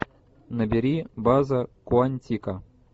набери база куантико